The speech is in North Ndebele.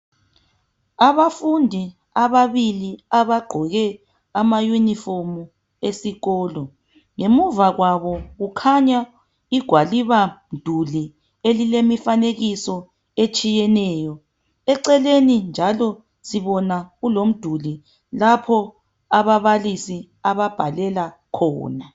Abafundi ababili abagqoke amayunifomu esikolo. Ngemuva kwabo kukhanya igwalibamduli elilemifanekiso etshiyeneyo. Eceleni njalo sibona kulomduli lapho ababalisi ababhalela khona.